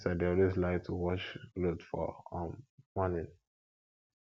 my sister dey always like to wash cloth for um morning